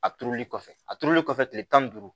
A turuli kɔfɛ a turulen kɔfɛ tile tan ni duuru